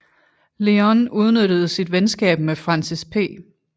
Lyon udnyttede sit venskab med Francis P